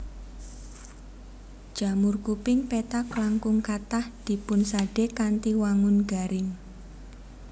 Jamur kuping pethak langkung kathah dipunsadé kanthi wangun garing